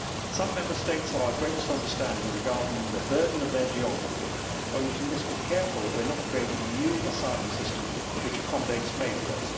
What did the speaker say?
Some Member States have our greatest understanding regarding the burden of their geography, but we must be careful that we are not creating a new asylum system which accommodates failures.